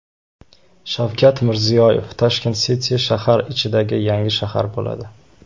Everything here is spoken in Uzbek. Shavkat Mirziyoyev: Tashkent City shahar ichidagi yangi shahar bo‘ladi.